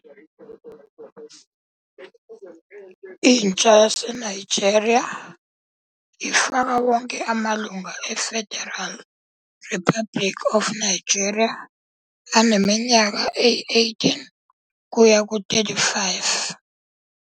Intsha yaseNigeria ifaka wonke amalungu eFederal Republic of Nigeria aneminyaka eyi-18-35.